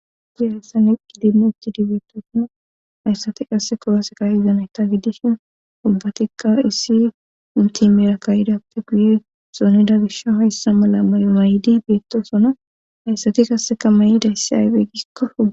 dieressa ne qi dinno utti dibeettosona hayssati qasse korose kayi zameta giddishin ubbatikka issi munti mera kayidappe guye soonida gisha hayssa mala may may7idi beettosona hayssati kassekamayi dayssi aybeygikko